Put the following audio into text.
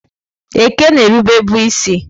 Eke na-erube bụ isi.